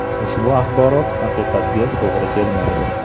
Ushbu axborot haqiqatga to‘g‘ri kelmaydi.